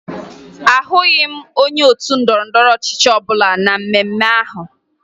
Ahụghị m onye otu ndọrọndọrọ ọchịchị ọbụla na mmemme ahụ